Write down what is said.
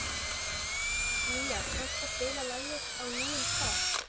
Mía, kanntu að spila lagið „Á nýjum stað“?